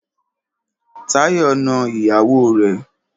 Táyọ̀ na ìyàwó rẹ̀.